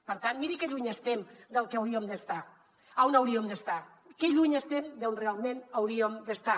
per tant miri que lluny estem del que hauríem d’estar a on hauríem d’estar que lluny estem d’on realment hauríem d’estar